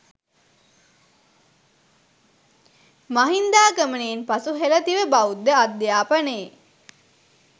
මහින්දාගමනයෙන් පසු හෙළදිව බෞද්ධ අධ්‍යාපනයේ